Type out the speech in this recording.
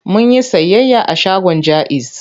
Mun yi sayayya a shagon Jaiz.